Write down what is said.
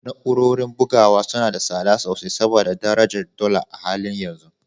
Na’urorin bugawa suna da tsada sosai saboda darajar dala a halin yanzu